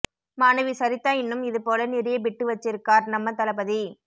மாணவி சரிதா இன்னும் இது போல நிறைய பிட்டு வச்சிருக்கார் நம்ம தளபதி